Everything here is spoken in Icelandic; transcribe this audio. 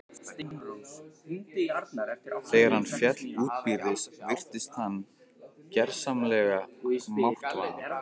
Þegar hann féll útbyrðis virtist hann gersamlega máttvana.